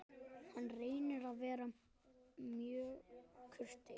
Hann reynir að vera mjög kurteis.